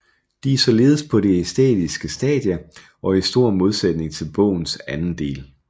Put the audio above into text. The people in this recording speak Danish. De er således på det æstetiske stadie og i stor modsætning til bogens anden del